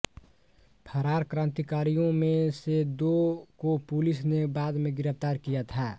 फरार क्रान्तिकारियों में से दो को पुलिस ने बाद में गिरफ़्तार किया था